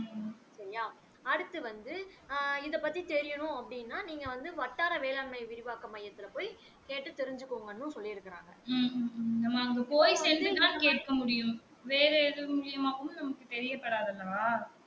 அடுத்து வந்து ஆ இத பத்தி தெரியன்னும் அப்படின்னா நீங்க வந்து வட்டார வேளாண்மை விரிவாக்க மையத்துல போய் கேட்டு தெரிஞ்சிக்கோங்கன்னும் சொல்லி இருக்காங்க